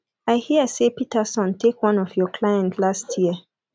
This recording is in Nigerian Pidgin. i hear say peterson take one of your client last year